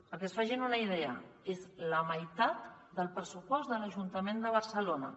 perquè se’n facin una idea és la meitat del pressupost de l’ajuntament de barcelona